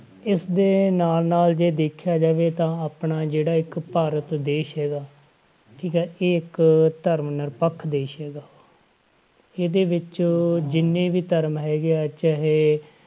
ਇਸਦੇ ਨਾਲ ਨਾਲ ਜੇ ਦੇਖਿਆ ਜਾਵੇ ਤਾ ਆਪਣਾ ਜਿਹੜਾ ਇੱਕ ਭਾਰਤ ਦੇਸ ਹੈਗਾ, ਠੀਕ ਹੈ ਇਹ ਇੱਕ ਧਰਮ ਨਿਰਪੱਖ ਦੇਸ ਹੈਗਾ ਇਹਦੇ ਵਿੱਚ ਜਿੰਨੇ ਵੀ ਧਰਮ ਹੈਗੇ ਆ ਚਾਹੇ,